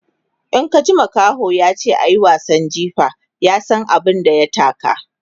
In ka ji makaho yace ayi wasan jifa, ya San abun da ya taka